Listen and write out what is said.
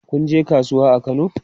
Kun je kasuwa a Kano?